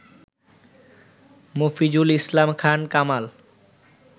Mofizul Islam Khan Kamal